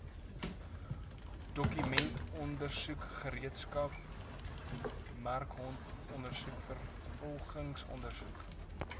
dokumentondersoek gereedskapsmerkondersoek vervolgingsondersoek